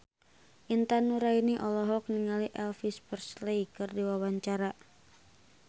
Intan Nuraini olohok ningali Elvis Presley keur diwawancara